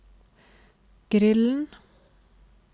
grillen